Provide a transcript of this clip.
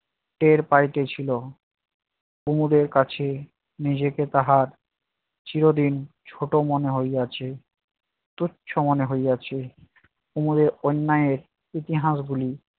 টের পাইতেছিল, কুমদের কাছে নিজেকে তাহার চিরদিন ছোট মনে হইয়াছে তুচ্ছ মনে হইয়াছে। কুমদের অন্যায়ের ইতিহাসগুলি